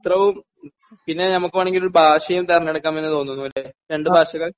ചരിത്രവും പിന്നെ നമുക്ക് വേണമെങ്കിൽ ഒരു ഭാഷയും തെരഞ്ഞെടുക്കാം എന്ന് തോന്നുന്നു അല്ലെ? രണ്ട് ഭാഷകൾ??